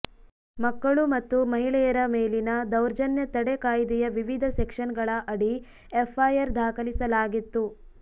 ಮಕ್ಕಳು ಮತ್ತು ಮಹಿಳೆಯರ ಮೇಲಿನ ದೌರ್ಜನ್ಯ ತಡೆ ಕಾಯ್ದೆಯ ವಿವಿಧ ಸೆಕ್ಷನ್ಗಳ ಅಡಿ ಎಫ್ಐಆರ್ ದಾಖಲಿಸಲಾಗಿತ್ತು